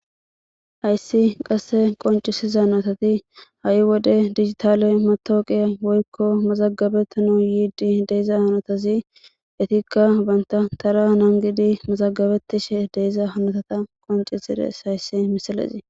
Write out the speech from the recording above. hayssi qasse qoncisiza natati ha7i wode digitaale metooqiya woykko mazagabetano yiidi deeza hanotazi etikka banta tara nangidi mazagabetishe deeza hanotata qoncisires hayssi misalezii